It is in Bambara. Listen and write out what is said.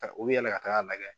Taa u be yɛlɛ ka taga lagɛ.